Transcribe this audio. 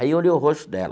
Aí eu olhei o rosto dela.